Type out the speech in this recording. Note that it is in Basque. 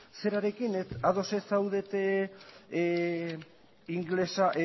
zerarekin ados ez zaudete ingelesa